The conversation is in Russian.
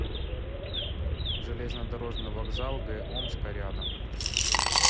железнодорожный вокзал г омска рядом